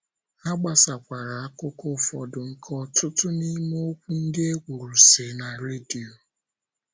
Ha gbasakwara akụkọ ụfọdụ nke ọtụtụ n’ime okwu ndị e kwuru, si *na redio.